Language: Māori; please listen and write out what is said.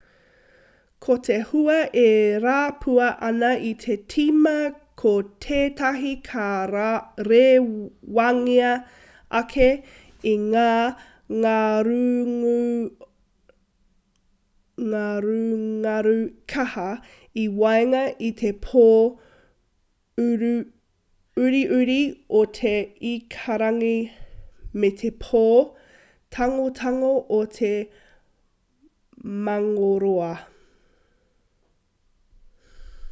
ko te hua e rapua ana i te tīma ko tētahi ka rewangia ake e ngā ngarungaru kaha i waenga i te pō uriuri o te ikarangi me te pō tangotango o te mangōroa